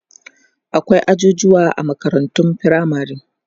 akwai ajujuwa a makarantun firamare